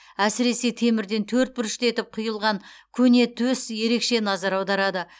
әсіресе темірден төрт бұрышты етіп құйылған көне төс ерекше назар аударады